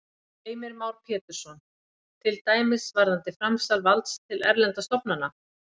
Heimir Már Pétursson: Til dæmis varðandi framsal valds til erlendra stofnana?